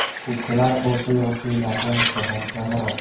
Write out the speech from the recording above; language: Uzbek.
Keksalar o‘rta yoshlilarga nisbatan kamroq.